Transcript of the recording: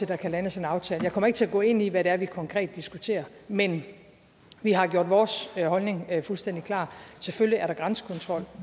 der kan landes en aftale jeg kommer ikke til at gå ind i hvad det er vi konkret diskuterer men vi har gjort vores holdning fuldstændig klar selvfølgelig er der grænsekontrol